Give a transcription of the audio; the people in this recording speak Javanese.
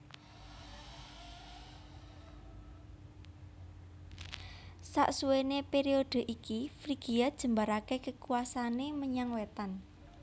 Sasuwene periode iki Frigia jembarake kekuwasane menyang wetan